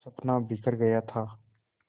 का सपना बिखर गया था